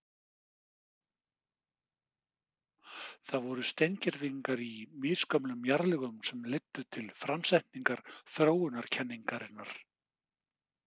Það voru steingervingar í misgömlum jarðlögum sem leiddu til framsetningar þróunarkenningarinnar.